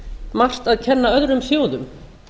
margt að kenna öðrum þjóðum